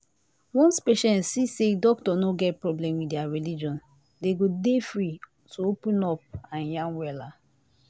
once patient see say doctor no get problem with their religion them go dey free to open up and yan wella